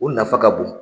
O nafa ka bon